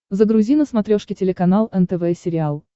загрузи на смотрешке телеканал нтв сериал